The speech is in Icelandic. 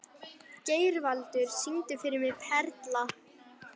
Geirvaldur, syngdu fyrir mig „Perla“.